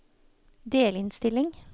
delinnstilling